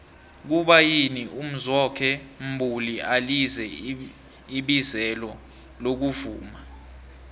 kuba yini umzwokhe mbuli alize ibizelo lokuvuma